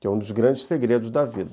Que é um dos grandes segredos da vida.